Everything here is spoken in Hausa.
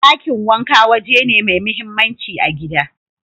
Dakin wanka waje ne mai mahimmanci a gida.